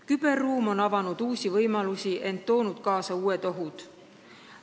Küberruum on avanud uusi võimalusi, ent toonud kaasa ka uusi ohte.